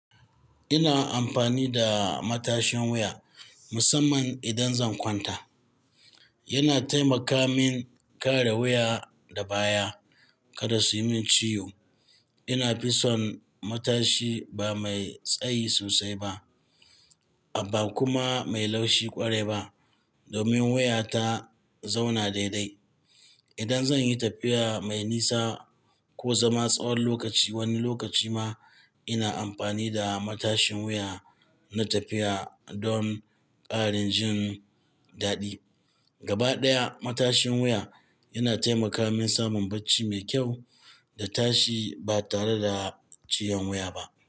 Ina amfani da matashin wuya musamman idan zan kwanta. Yana taimaka min kare wuya da baya kada su yi min ciwo. Ina fi son matashi ba mai tsayi sosai ba, amma kuma mai laushi ƙwarai ba domin wuya ta zauna daidai. Idan zan yi tafiya mai nisa ko zama tsawon lokaci wani lokaci ma, ina amfani da matashin wuya na tafiya don ƙarin jin daɗi. Gaba ɗaya matashin wuya yana taimaka min samun bacci mai kyau da tashi ba tare da ciyon wuya ba.